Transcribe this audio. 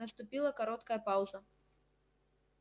наступила короткая пауза